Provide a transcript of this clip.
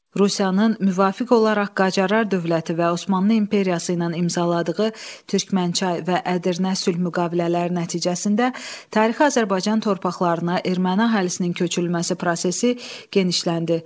Rusiyanın müvafiq olaraq Qacarlar dövləti və Osmanlı İmperiyası ilə imzaladığı türkənçay və Ədirnə sülh müqavilələri nəticəsində tarixi Azərbaycan torpaqlarına erməni əhalisinin köçürülməsi prosesi genişləndi.